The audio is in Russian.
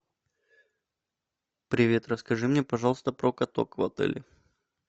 привет расскажи мне пожалуйста про каток в отеле